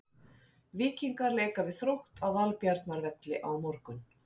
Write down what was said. Víkingar leika við Þrótt á Valbjarnarvelli á morgun.